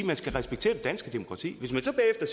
man skal respektere det danske demokrati hvis man